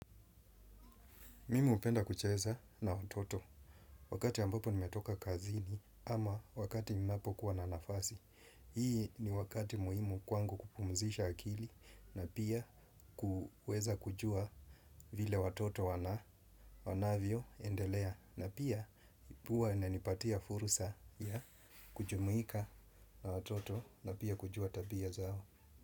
Mimi hupenda kucheza na watoto wakati ambapo nimetoka kazini ama wakati ninapokuwa na nafasi. Hii ni wakati muhimu kwangu kupumzisha akili na pia kuweza kujua vile watoto wanavyoendelea. Na pia huwa inanipatia fursa ya kujumuika na watoto na pia kujua tabia zao.